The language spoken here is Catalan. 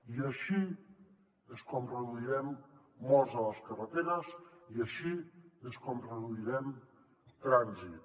i així és com reduirem morts a les carreteres i així és com reduirem trànsit